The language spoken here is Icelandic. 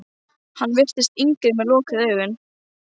Hann virtist yngri með augun lokuð.